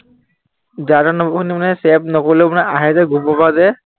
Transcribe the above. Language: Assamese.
যা তা number ৰ পৰা মানে save নকৰিলেও মানে আহে যে group ৰ পৰা যে